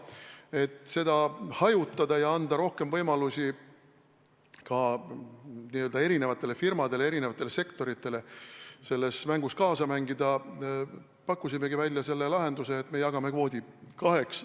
Et seda hajutada ja anda eri firmadele, eri sektoritele rohkem võimalusi selles mängus kaasa mängida, pakkusimegi välja lahenduse, et jagame kvoodi kaheks.